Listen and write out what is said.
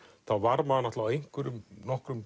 þá var maður á einhverjum nokkrum